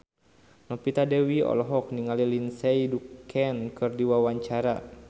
Novita Dewi olohok ningali Lindsay Ducan keur diwawancara